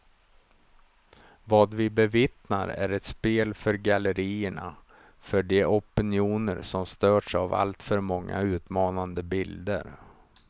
Vad vi bevittnar är ett spel för gallerierna, för de opinioner som störts av allför många utmanande bilder.